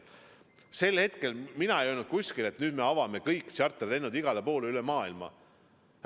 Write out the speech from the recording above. Sel hetkel ei öelnud mina kuskil, et nüüd me avame kõik tšarterlennud igale poole, üle maailma.